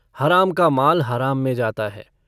हराम का माल हराम में जाता है।